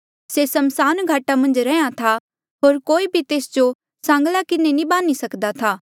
से समसान घाटा मन्झ रैंहयां था होर कोई भी तेस जो सांगला किन्हें नी बान्ही सक्दा था